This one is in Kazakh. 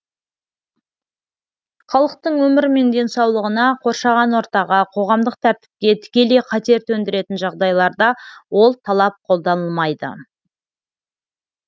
халықтың өмірі мен денсаулығына қоршаған ортаға қоғамдық тәртіпке тікелей қатер төндіретін жағдайларда ол талап қолданылмайды